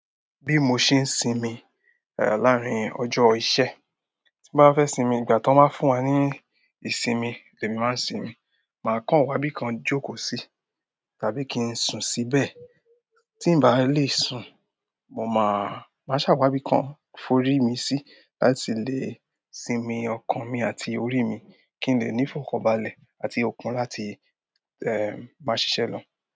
Bí mo ṣe ń sinmi, eh, láàárín ọjọ́ iṣẹ́, tí bá fẹ́ sinmi, ìgbà tó máa ń fún wa ní ìsinmi ni èmi máa ń sinmi. Máa kàn wá bí i kan jókòó sí tàbí kí n sùn síbẹ̀. Tí ì bá lè sùn, mo máa, máa sàwábí kan forí mi sí láti lè sinmi ọkàn mi àti orí mi kí n lè ní ìfọ̀kànbalẹ̀ àti okun láti, ẹ, máa ṣiṣẹ́ lọ.